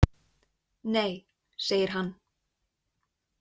Nei, segir hann.